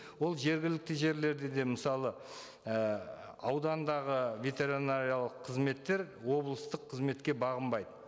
ол жергілікті жерлерді де мысалы і аудандағы ветеринариялық қызметтер облыстық қызметке бағынбайды